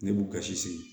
Ne b'u ka si sigi